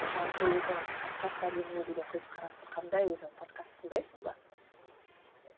жалпы өзің подкаст әлеміне деген көзқарасың қандай өзің подкаст тыңдайсың ба